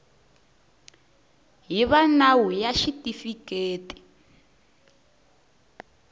hi va nawu ya xitifiketi